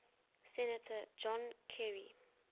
senator john kerry